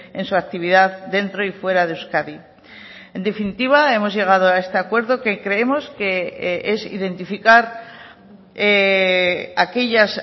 en su actividad dentro y fuera de euskadi en definitiva hemos llegado a este acuerdo que creemos que es identificar aquellas